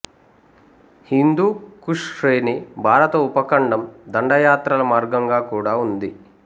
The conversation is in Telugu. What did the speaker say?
హిందూ కుష్ శ్రేణి భారత ఉపఖండం దండయాత్రల మార్గంగా కూడా ఉంది